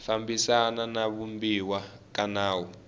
fambisana na vumbiwa ka nawu